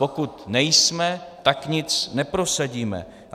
Pokud nejsme, tak nic neprosadíme.